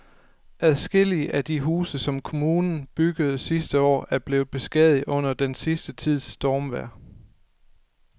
Adskillige af de huse, som kommunen byggede sidste år, er blevet beskadiget under den sidste tids stormvejr.